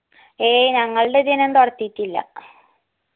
ഏയ്യ് ഞങ്ങൾടെ ഇതീനൊന്നും തൊടത്തീറ്റില്ല